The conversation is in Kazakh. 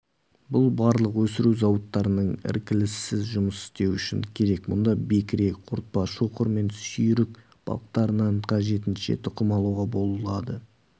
бұл балық өсіру зауыттарының іркіліссіз жұмыс істеуі үшін керек мұнда бекіре қортпа шоқыр мен сүйрік балықтарынан қажетінше тұқым алуға болады